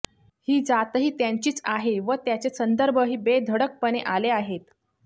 ही जातही त्यांचीच आहे व त्याचे संदर्भही बेधडकपणे आले आहेत